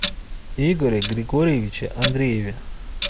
игоре григорьевиче андрееве